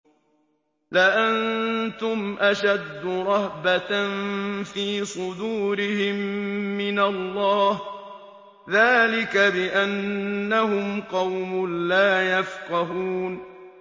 لَأَنتُمْ أَشَدُّ رَهْبَةً فِي صُدُورِهِم مِّنَ اللَّهِ ۚ ذَٰلِكَ بِأَنَّهُمْ قَوْمٌ لَّا يَفْقَهُونَ